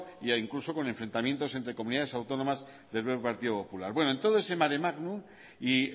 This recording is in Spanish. ya incluso con enfrentamientos entre comunidades autónomas del propio partido popular bueno en todo ese maremágnum y